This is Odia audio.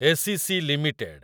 ACC limited